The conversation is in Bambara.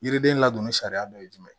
Yiriden ladonni sariya dɔ ye jumɛn ye